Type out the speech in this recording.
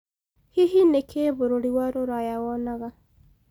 hĩhĩ ni kĩĩ bũrũrĩ wa ruraya wonaga